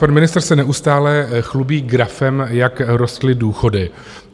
Pan ministr se neustále chlubí grafem, jak rostly důchody.